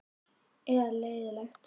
Eða leiðinlegt?